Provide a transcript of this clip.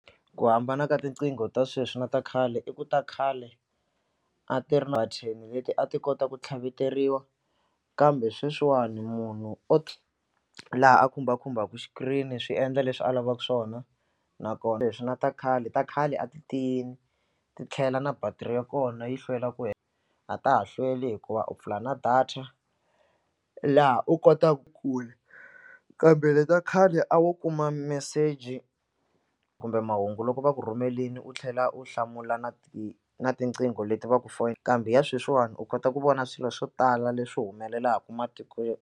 Ku hambana ka tinqingho ta sweswi na ta khale i ku ta khale a ti ri na leti a ti kota ku tlhaveteriwi kambe sweswiwani munhu o laha a khumbakhumbaka xikirini swi endla leswi a lavaka swona nakona leswi na ta khale ta khale a ti tiyini ti tlhela na battery ya kona yi hlwela ku a ta ha hlweli hikuva u pfula na data laha u kotaka ku kambe leta khale a wo kuma message kumbe mahungu loko va ku rhumelini u tlhela u hlamula na ti na tiqingho leti va ku kambe ya sweswiwani u kota ku vona swilo swo tala leswi humelelaku matiko.